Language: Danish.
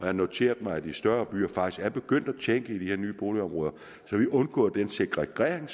har noteret mig at de større byer faktisk er begyndt at tænke de her nye boligområder så vi undgår segregering